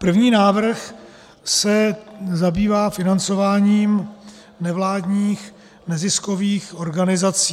První návrh se zabývá financováním nevládních neziskových organizací.